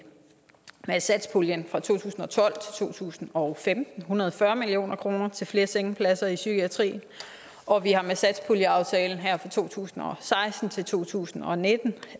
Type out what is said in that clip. satspuljen fra to tusind og tolv til to tusind og femten hundrede og fyrre million kroner til flere sengepladser i psykiatrien og vi har med satspuljeaftalen her fra to tusind og seksten til to tusind og nitten